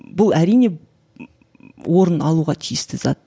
бұл әрине орын алуға тиісті зат